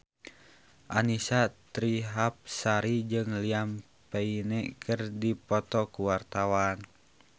Annisa Trihapsari jeung Liam Payne keur dipoto ku wartawan